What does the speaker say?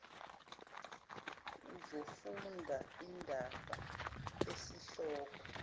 uzofunda indaba esihloko